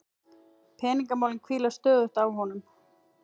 Peningamálin hvíla stöðugt á honum.